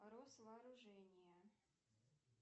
росвооружение